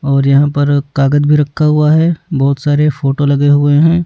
और यहां पर कागज भी रखा हुआ है बहुत सारे फोटो लगे हुए हैं।